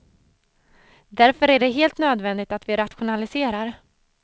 Därför är det helt nödvändigt att vi rationaliserar.